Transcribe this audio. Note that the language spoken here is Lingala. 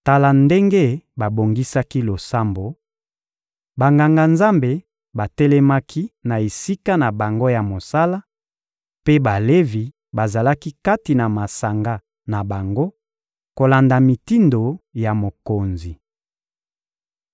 Tala ndenge babongisaki losambo: Banganga-Nzambe batelemaki na esika na bango ya mosala, mpe Balevi bazalaki kati na masanga na bango, kolanda mitindo ya mokonzi.